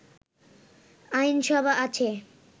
আইনসভা আছে